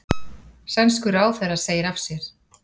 Sænskur ráðherra segir af sér